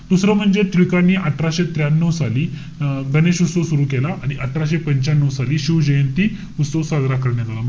दुसरं म्हणजे, टिळकांनी अठराशे त्र्यानऊ साली, अं गणेश उत्सव सुरु केला. आणि अठराशे पंच्यानऊ साली शिव जयंती उत्सव साजरा करण्यात आला.